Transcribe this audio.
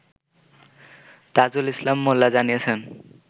তাজুল ইসলাম মোল্লা জানিয়েছেন